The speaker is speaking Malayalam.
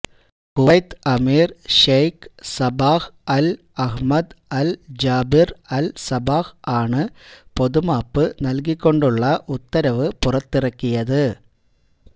Kuwait emir Sheikh Sabah al Ahmad al Jaber al Sabah ആണ് പൊതുമാപ്പ് നൽകികൊണ്ടുള്ള ഉത്തരവ് പുറത്തിറക്കിയത്